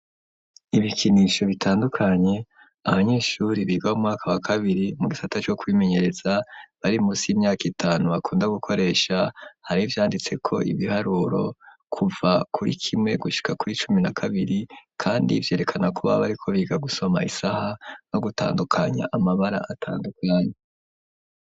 Ibikinisho bitandukanye abanyeshuri biga mu mwaka wa kabiri mu gifata co kwimenyereza bari musi y'imyaka itanu bakunda gukoresha hari vyanditse ko ibiharuro kuva kuri kimwe gushika kuri cumi na kabiri kandi vyerekana kuba bariko biga gusoma isaha no gutandukanya amabara atandukanye.